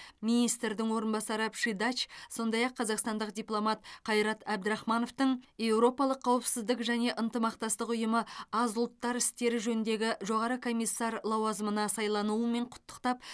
министрдің орынбасары пшидач сондай ақ қазақстандық дипломат қайрат әбдірахмановтың еуропалық қауіпсіздік және ынтымақтастық ұйымы аз ұлттар істері жөніндегі жоғары комиссар лауазымына сайлануымен құттықтап